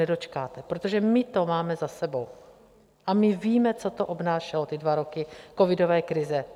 Nedočkáte, protože my to máme za sebou a my víme, co to obnášelo, ty dva roky covidové krize.